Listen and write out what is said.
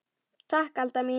Takk Alda mín.